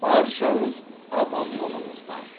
баршаңыз аман болыңыздар